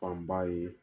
Fanba ye